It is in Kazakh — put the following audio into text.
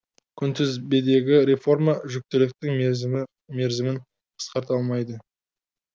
күнтізбедегі реформа жүктіліктің мерзімін қысқарта алмайды